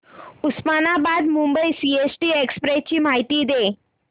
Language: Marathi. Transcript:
उस्मानाबाद मुंबई सीएसटी एक्सप्रेस ची माहिती दे